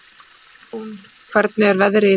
Sveinrún, hvernig er veðrið í dag?